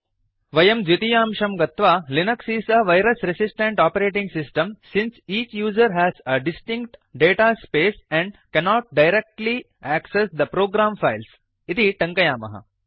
वयं द्वितीयांशं गत्वा Linux is a virus resistant operating system since each user has a distinct data space and cannot directly access the program files इति टङ्कयामः